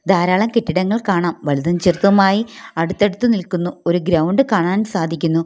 ധാരാളം കെട്ടിടങ്ങൾ കാണാം വലുതും ചെറുതുമായി അടുത്തടുത്ത് നിൽക്കുന്നു ഒരു ഗ്രൗണ്ട് കാണാൻ സാധിക്കുന്നു.